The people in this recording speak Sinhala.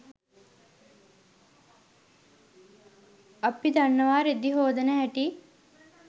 අපි දන්නවා රෙදි හෝදන හැටි